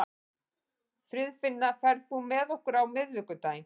Friðfinna, ferð þú með okkur á miðvikudaginn?